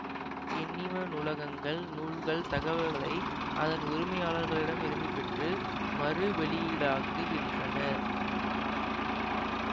எண்ணிம நூலகங்கள் நூல்கள் தகவல்களை அதன் உரிமையாளர்களிடம் இருந்து பெற்று மறுவெளியீடாக்குகின்றன